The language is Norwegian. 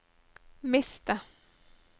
miste